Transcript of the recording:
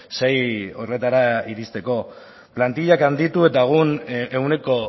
sei horretara iristeko plantillak handitu eta egun ehuneko